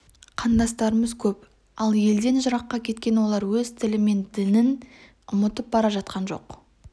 қандастарымыз көп ал елден жыраққа кеткен олар өз тілі мен ділін ұмытып бара жатқан жоқ